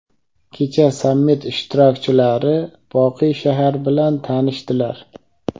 Kecha sammit ishtirokchilari "Boqiy shahar" bilan tanishdilar.